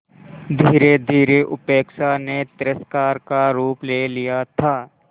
धीरेधीरे उपेक्षा ने तिरस्कार का रूप ले लिया था